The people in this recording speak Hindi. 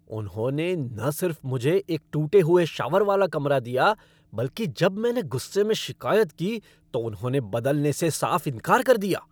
उन्होंने न सिर्फ मुझे एक टूटा हुआ शावर वाला कमरा दिया बल्कि जब मैंने गुस्से में शिक़ायत की तो उन्होंने बदलने से साफ़ इनकार कर दिया!